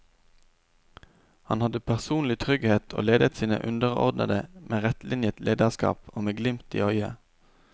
Han hadde personlig trygghet og ledet sine underordnede med rettlinjet lederskap og med glimt i øyet.